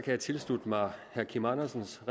jeg tilslutte mig herre kim andersens